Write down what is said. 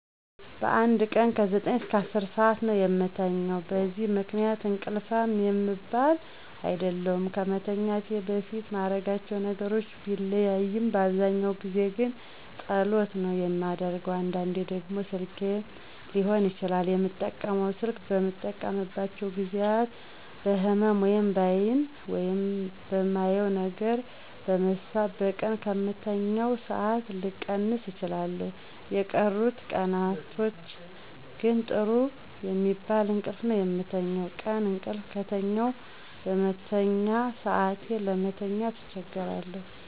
በአንድ ቀን ከ9-10 ሠአት ነው የምተኛው። በዚህ ምክንያት እንቅልፋም የምባል አይደለሁም። ከመተኛቴ በፊት ማረጋቸው ነገሮች ቢለያይም በአብዛኛው ጊዜ ግን ጸሎት ነው የማደርገው። አንዳንዴ ደግሞ ስልኬን ሊሆን ይችላል የምጠቀመው። ስልክ በምጠቀምባቸው ጊዜያት በህመም(በአይን) ወይም በማየው ነገር በመሳብ በቀን ከምተኛው ሠአት ልቀንስ እችላለሁ። የቀሩት ቀናቶች ግን ጥሩ የሚባል እንቅልፍ ነው የምተኛው። ቀን እቅልፍ ከተኛሁ በመተኛ ሰአቴ ለመተኛት አቸገራለሁ